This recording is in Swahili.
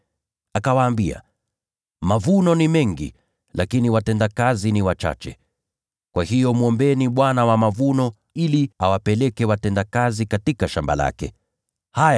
Akawaambia, “Mavuno ni mengi, lakini watendakazi ni wachache. Kwa hiyo mwombeni Bwana wa mavuno, ili apeleke watendakazi katika shamba lake la mavuno.